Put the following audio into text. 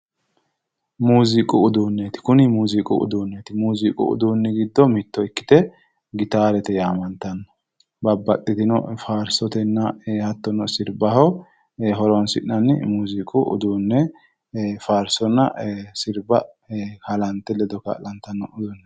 muziiqu uduunneeti kuni muziiqu uduunneeti muziiqu uduunni giddo mitto ikkite gitaarete yaate babbaxxitino faarsotenna hattono sirbaho horonsi'nanni muziiqu uduunne faarsonna sirba halante ledo kaa'latanno